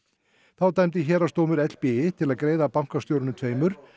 þá dæmdi héraðsdómur til að greiða bankastjórunum tveimur